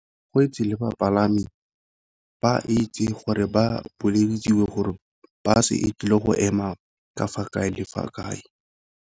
Go itse le bapalami ba itse gore ba bolelediwa gore bus e tlile go ema ka fa kae le fa kae.